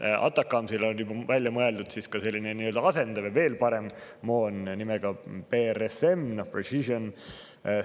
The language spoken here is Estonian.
ATACMS‑ile on välja mõeldud nii-öelda asendaja või veel parem moon nimega PrSM ehk Precision